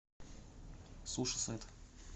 сушисет